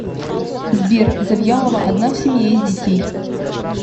сбер завьялова одна в семье из детей